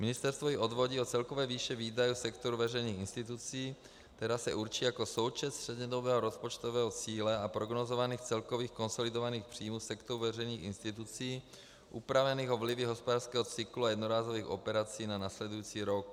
Ministerstvo ji odvodí od celkové výše výdaje sektoru veřejných institucí, která se určí jako součet střednědobého rozpočtového cíle a prognózovaných celkových konsolidovaných příjmů sektoru veřejných institucí upravených o vlivy hospodářského cyklu a jednorázových operací na následující rok.